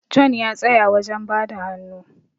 John ya tsaya wajen bada hannu